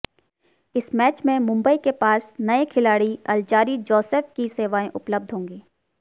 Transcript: इस मैच में मुंबई के पास नए खिलाड़ी अल्जारी जोसेफ की सेवाएं उपलब्ध होंगी